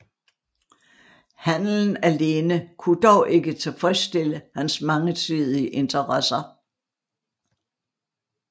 Handelen alene kunne dog ikke tilfredsstille hans mangesidige interesser